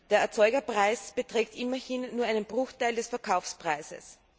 Der Erzeugerpreis beträgt immerhin nur einen Bruchteil des Verkaufspreises.